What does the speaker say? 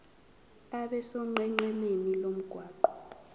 abe sonqenqemeni lomgwaqo